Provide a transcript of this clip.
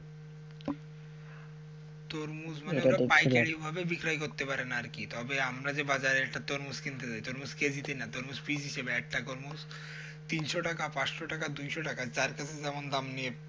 তরমুজ মানে পাইকারি ভাবে বিক্রয় করতে পারেনা আরকি তবে আমরা যে বাজারে একটা তরমুজ কিনতে যাই তরমুজ কেজি তে না তরমুজ piece হিসাবে হয় একটা তরমুজ তিনশো টাকা পাঁচশো টাকা দুইশো টাকা যার কাছে যেমন দাম নিয়ে